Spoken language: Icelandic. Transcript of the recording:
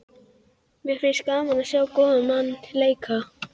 Mér finnst gaman að sjá góðan mann leika.